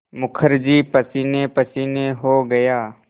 मुखर्जी पसीनेपसीने हो गया